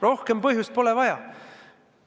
Rohkem põhjust pole vaja.